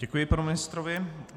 Děkuji panu ministrovi.